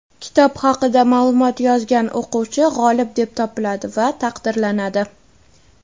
kitob haqida ma’lumot yozgan o‘quvchi g‘olib deb topiladi va taqdirlanadi.